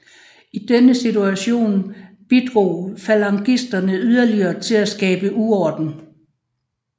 I denne situation bidrog falangisterne yderligere til at skabe uorden